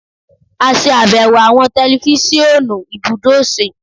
a ṣàbẹwò awọn tẹlifisiọnu ibudo ose